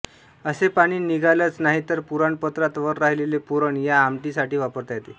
असे पाणी निघालंच नाही तर पुराण पत्रात वर राहिलेले पुरण या आमटी साठी वापरता येते